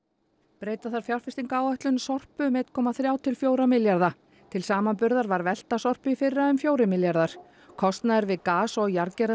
breyta þarf fjárfestingaráætlun Sorpu um einn komma þrjá til fjóra milljarða til samanburðar var velta Sorpu í fyrra um fjórir milljarðar kostnaður við gas og